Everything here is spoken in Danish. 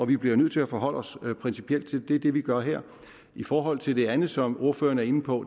vi bliver nødt til at forholde os principielt til det er det vi gør her i forhold til det andet som ordføreren er inde på